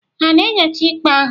Ha na-enyocha ikpe ahụ?